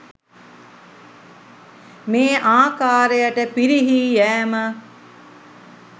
මේ ආකාරයට පිරිහී යෑම